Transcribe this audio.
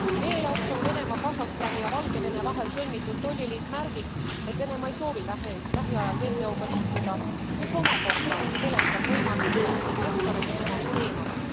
Meie jaoks on Venemaa, Kasahstani ja Valgevene vahel sõlmitud tolliliit märgiks, et Venemaa ei soovi lähiajal WTOga liituda, mis omakorda peletab võimalikke investoreid temast teemale.